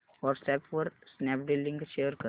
WhatsApp वर Snapdeal link share कर